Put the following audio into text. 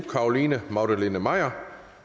carolina magdalene maier